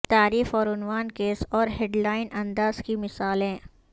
تعریف اور عنوان کیس اور ہیڈ لائن انداز کی مثالیں